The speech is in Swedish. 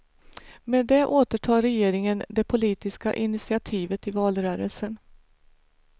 Med det återtar regeringen det politiska initiativet i valrörelsen.